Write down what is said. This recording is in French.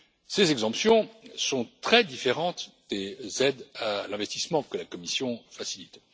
Ces exonérations sont très différentes des aides à l'investissement que la Commission facilite.